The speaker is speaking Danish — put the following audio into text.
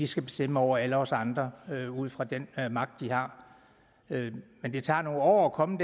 skal bestemme over alle os andre ud fra den magt de har men det tager nogle år at komme